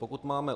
Pokud máme